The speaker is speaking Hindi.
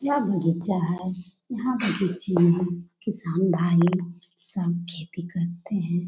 यह बगीचा है यह बगीचा में किसान भाई सब खेती करते हैं।